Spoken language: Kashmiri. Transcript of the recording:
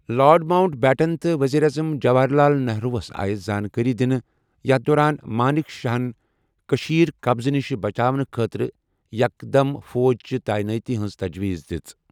لارڈ ماوُنٹ بیٹن تہٕ ؤزیٖر اعظم جواہر لال نہروُ ہَس آیہِ زانٛکٲری دِنہٕ، یَتھ دوران مانِک شاہن کٔشیٖر قبضہٕ نِش بچاونہٕ خٲطرٕ یکدم فوج چہِ تعینٲتی ہٕنٛز تجویٖز دِژ۔